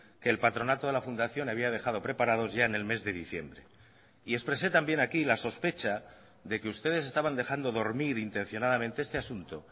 que el patronato de la fundación había dejado preparados ya en el mes de diciembre y expresé también aquí la sospecha de que ustedes estaban dejando dormir intencionadamente este asunto